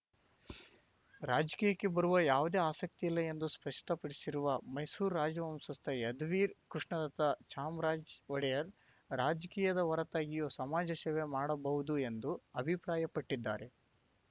ರಾಜಕೀಯಕ್ಕೆ ಬರುವ ಯಾವುದೇ ಆಸಕ್ತಿ ಇಲ್ಲ ಎಂದು ಸ್ಪಷ್ಟಪಡಿಸಿರುವ ಮೈಸೂರು ರಾಜವಂಶಸ್ಥ ಯದುವೀರ್ ಕೃಷ್ಣದತ್ತ ಚಾಮರಾಜ ಒಡೆಯರ್‌ ರಾಜಕೀಯದ ಹೊರತಾಗಿಯೂ ಸಮಾಜ ಸೇವೆ ಮಾಡಬಹುದು ಎಂದು ಅಭಿಪ್ರಾಯಪಟ್ಟಿದ್ದಾರೆ